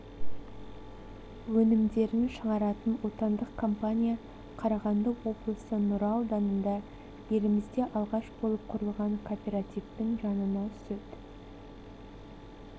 өнімдерін шығаратын отандық компания қарағанды облысы нұра ауданында елімізде алғаш болып құрылған кооперативтің жанына сүт